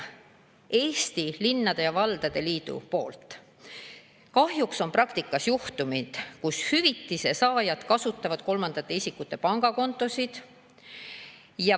Eesti Linnade ja Valdade Liit on toonud välja, et kahjuks on praktikas juhtumeid, kui hüvitise saajad kasutavad kolmandate isikute pangakontosid.